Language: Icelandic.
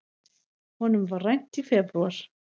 Honum var rænt í febrúar.